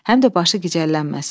Həm də başı gicəllənməsin.